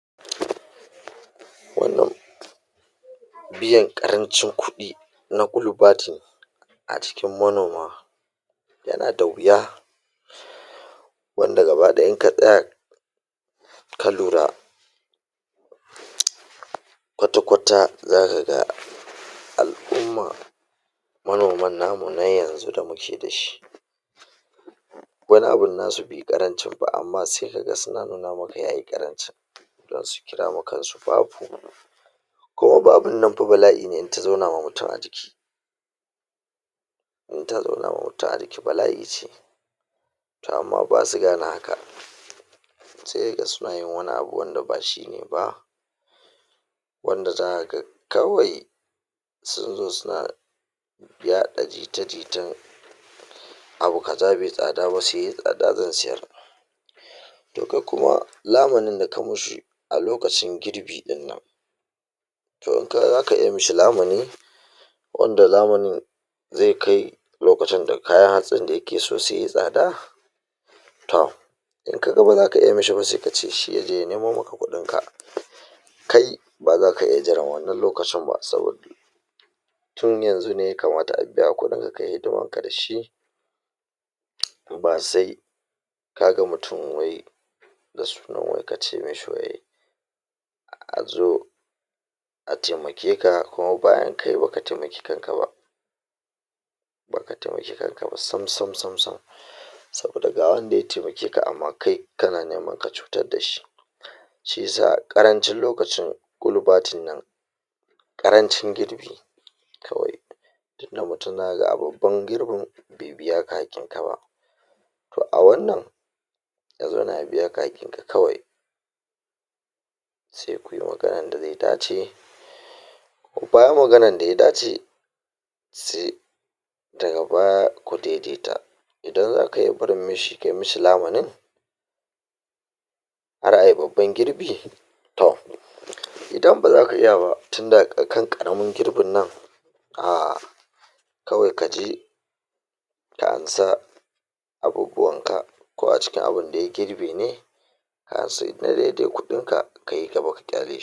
wannan biyan ƙarancin kuɗi na a cikin manoma yana da wuya wanda gaba ɗaya in ka ka lura kwata-kwata zaka ga al'umma manoman namu na yanzu da muke da shi wani abun na su be ƙarancin ba amma se ka ga suna nuna maka yayi ƙaranci don su kira ma kan su babu kuma babun nan fa bala'i ne in ta zauna ma mutum a jiki in ta zauna ma mutum a jiki bala'i ce to amma basu gane haka se ka ga suna yin wani abu wanda ba shi ne ba wanda zaka ga kawai sun zo suna yaɗa jita-jitan abu kaza be tsada ba se yai tsada zan siyar to kak kuma lamanin da ka mi shi a lookacin girbi ɗin nan to um zaka iya mi shi lamani wanda lamanin ze kai lokacin da kayan hatsin da yake so sunyi tsada to in ka ga ba zaka iya mi shi ba se kace shi yaje ya nemo maka kuɗin ka kai ba zaka iya jiran wannan lokacin ba saboda tun yanzu ne ya kamata a biya ka kuɗin ka kayi hidiman ka da shi ba sai ka ga mutum wai da sunan wai ka ce mi shi wai a zo a temake ka kuma bayan kai baka temaki kanka ba baka temaki kanka ba sam sam sam saboda ga wanda ya temake ka amma kai kana neman ka cutar da shi shi yasa ƙarancin lokacin ƙarancin girbi kawai tunda mutum zaka a babban girbin be biya ka hakkin ka ba to a wannan ya zauna ya biya ka hakkin ka kawai se kuyi maganan da ze dace bayan maganan da ya dace se daga baya ku de-de ta idan zaka iya barin mi shi ka mi shi lamanin har ayi babban girbi to idan ba zaka iya ba tunda a kan ƙaramin girbin nan um kawai ka je ka ansa abubuwan ka ko a cikin abinda ya girbe ne ka ansa na de-de kuɗin ka ka yi gaba ka ƙyale shi